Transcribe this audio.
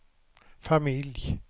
familj